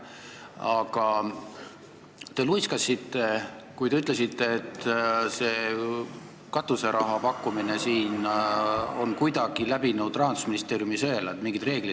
Aga te luiskasite, kui te ütlesite, et see katuseraha pakkumine on läbinud Rahandusministeeriumi sõela, et on mingid reeglid.